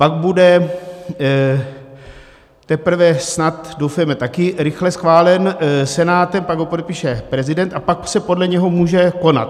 Pak bude teprve snad, doufejme, taky rychle schválen Senátem, pak ho podepíše prezident a pak se podle něho může konat.